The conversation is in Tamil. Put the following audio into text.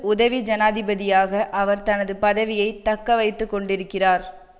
உதவி ஜனாதிபதியாக அவர் தனது பதவியை தக்க வைத்து கொண்டிருக்கிறார்